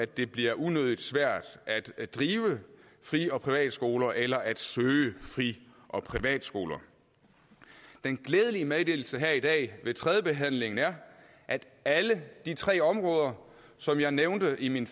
det bliver unødigt svært at drive fri og privatskoler eller at søge fri og privatskoler den glædelige meddelelse her i dag ved tredjebehandlingen er at alle de tre områder som jeg nævnte i min